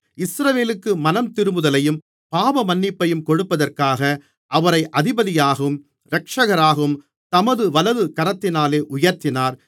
இஸ்ரவேலுக்கு மனந்திரும்புதலையும் பாவமன்னிப்பையும் கொடுப்பதற்காக அவரை அதிபதியாகவும் இரட்சகராகவும் தமது வலது கரத்தினாலே உயர்த்தினார்